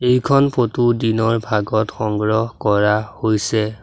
এইখন ফটো দিনৰ ভাগত সংগ্ৰহ কৰা হৈছে।